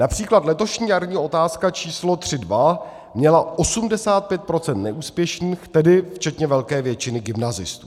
Například letošní jarní otázka číslo 3.2 měla 85 % neúspěšných, tedy včetně velké většiny gymnazistů.